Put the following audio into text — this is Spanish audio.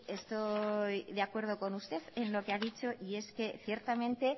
estoy de acuerdo con usted en lo que ha dicho y es que ciertamente